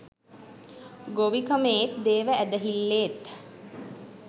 ගොවිකමේත් දේව ඇදහිල්ලේත්